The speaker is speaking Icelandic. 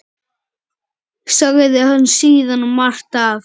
Sagði hann síðan margt af